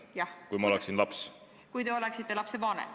Kuidas ma tunneksin ennast, kui ma oleksin laps?